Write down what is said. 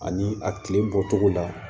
Ani a tile bɔcogo la